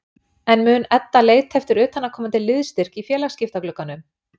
En mun Edda leita eftir utanaðkomandi liðsstyrk í félagsskiptaglugganum?